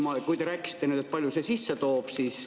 Te rääkisite, palju see sisse toob.